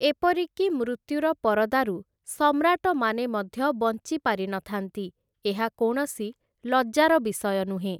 ଏପରିକି ମୃତ୍ୟୁର ପରଦାରୁ ସମ୍ରାଟମାନେ ମଧ୍ୟ ବଞ୍ଚି ପାରିନଥାନ୍ତି, ଏହା କୌଣସି ଲଜ୍ଜାର ବିଷୟ ନୁହେଁ ।